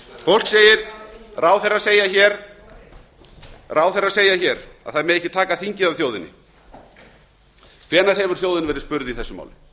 engu að síður ráðherrar segja hér að það megi ekki taka þingið af þjóðinni hvenær hefur þjóðin verið spurð í þessu máli